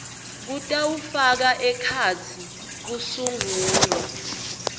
kutawufaka ekhatsi kusungulwa